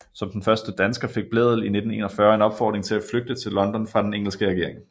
Som den første dansker fik Blædel i 1941 en opfordring til at flygte til London fra den engelske regering